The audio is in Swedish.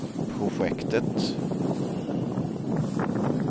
projektet